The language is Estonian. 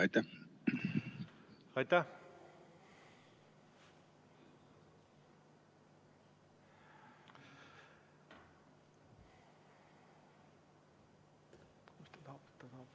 Aitäh!